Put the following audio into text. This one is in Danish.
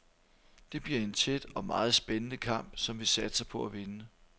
Det bliver en tæt og meget spændende kamp, som vi satser på at vinde.